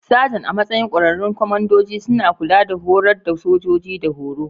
Sajan, a matsayin ƙwararrun kwamandoji, suna kula da horar da sojoji da horo.